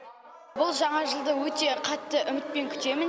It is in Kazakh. бұл жаңа жылды өте қатты үмітпен күтемін